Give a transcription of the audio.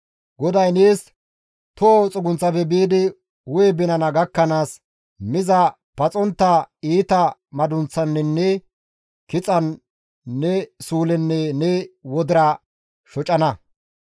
GODAY nees toho xugunththafe biidi hu7e binana gakkanaas miza paxontta iita madunththaninne kixan ne suulenne ne wodira shocanna.